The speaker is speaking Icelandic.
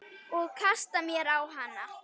Og kasta mér á hana.